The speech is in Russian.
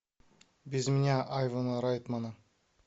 без меня айвана райтмана